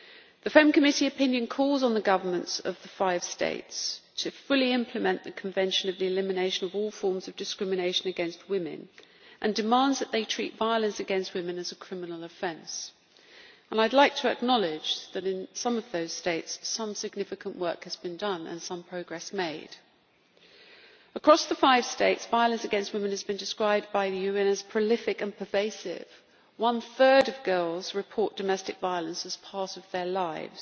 The FEMM Committee opinion calls on the governments of the five states to fully implement the Convention on the Elimination of All Forms of Discrimination against Women and demands that they treat violence against women as a criminal offence. I would like to acknowledge that in some of those states some significant work has been done and some progress made. Across the five states, violence against women has been described by the UN as prolific and pervasive one third of girls report domestic violence as part of their lives.